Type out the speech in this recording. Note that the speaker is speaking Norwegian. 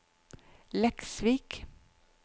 Leksvik